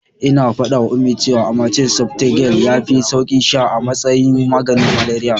Ina faɗawa Ummi cewa amatem softgel yafi sauki sha a matsayin maganin malariya.